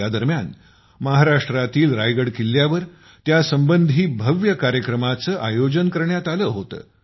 या दरम्यान महाराष्ट्रातील रायगड किल्ल्यावर त्यासंबंधी भव्य कार्यक्रमांचे आयोजन करण्यात आले होते